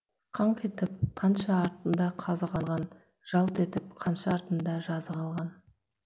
қаңқ етіп қанша артында қазы қалған жалт етіп қанша артында жазы қалған